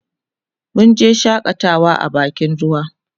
munje shakatawa a bakin ruwa